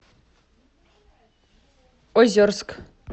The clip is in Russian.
озерск